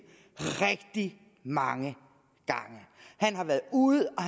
rigtig mange gange han har været ude og